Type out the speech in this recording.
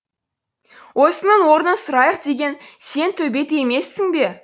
осының орнын сұрайық деген сен төбет емессің бе